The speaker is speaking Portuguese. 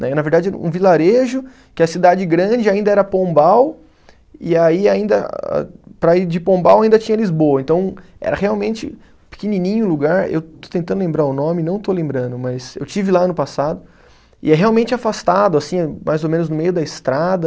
Né, na verdade, um vilarejo que a cidade grande ainda era Pombal, e aí ainda a, para ir de Pombal ainda tinha Lisboa, então era realmente pequenininho o lugar, eu estou tentando lembrar o nome e não estou lembrando, mas eu estive lá ano passado, e é realmente afastado, assim, mais ou menos no meio da estrada,